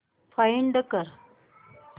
find कर